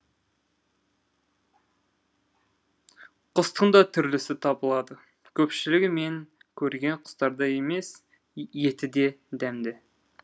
құстың да түрлісі табылады көпшілігі мен көрген құстардай емес еті де дәмді